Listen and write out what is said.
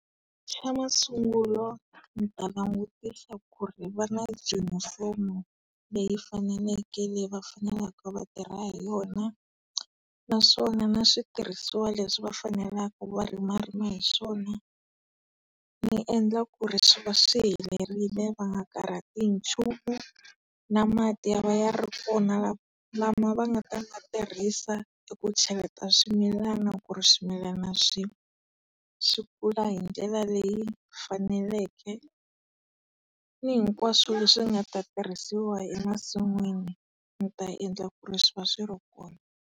Xa masungulo, ndzi ta langutisa ku ri va na junifomu leyi faneleke leyi va faneleke va tirha hi yona, naswona na switirhisiwa leswi va faneleku va rimarima hi swona, ni endla ku ri swi va swi helerile va nga karhati hi nchumu. Na mati ya va ya ri kona lama va nga ta ma tirhisa eku cheleta swimilana ku ri swimilana swi, swi kula hi ndlela leyi faneleke. Ni hinkwaswo leswi nga ta tirhisiwa emasin'wini, ni ta endla ku ri swi va swi ri kona.